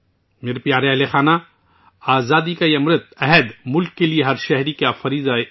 میرے پیارے اہلِ خانہ، آزادی کا یہ امرت بھی ملک کے لیے ہر شہری کا فرض ہے